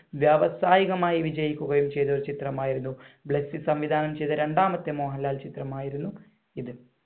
വ്യവസായികമായി വിജയിക്കുകയും ചെയ്ത ഒരു ചിത്രം ആയിരുന്നു, ബ്ലെസ്സിസംവിധാനം ചെയ്ത രണ്ടാമത്തെ മോഹൻലാൽ മാത്രമായിരുന്നു ഇത്.